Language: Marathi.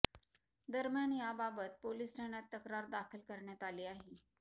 दरम्यान याबाबत पोलीस ठाण्यात तक्रार दाखल करण्यात आली आहे